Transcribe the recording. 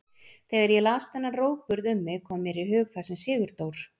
Þegar ég las þennan rógburð um mig kom mér í hug það sem Sigurdór